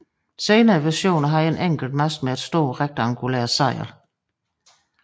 Senere versioner havde en enkelt mast med et stort rektangulært sejl